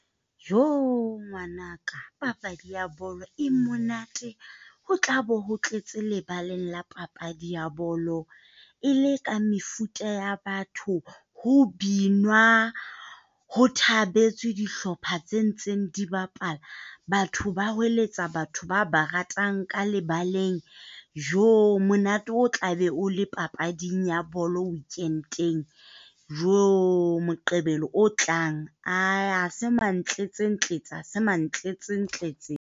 Joo, ngwana ka. Papadi ya bolo e monate ho tlabo ho tletse lebaleng la papadi ya bolo e le ka mefuta ya batho ho binwa ho thabetswe dihlopha tse ntseng di bapala. Batho ba hoeletsa batho ba ba ratang ka lebaleng. Joo, monate o tlabe o le papading ya bolo weekend ena. Joo, Moqebelo o tlang a ha se mantlentse-ntletse ha se mantlentse-ntletse.